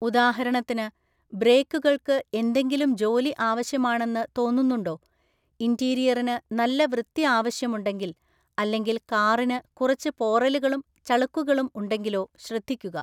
ഉദാഹരണത്തിന് ബ്രേക്കുകൾക്ക് എന്തെങ്കിലും ജോലി ആവശ്യമാണെന്ന് തോന്നുന്നുണ്ടോ, ഇന്റീരിയറിന് നല്ല വൃത്തി ആവശ്യമുണ്ടെങ്കിൽ, അല്ലെങ്കിൽ കാറിന് കുറച്ച് പോറലുകളും ചളുക്കുകളും ഉണ്ടെങ്കിലോ ശ്രദ്ധിക്കുക.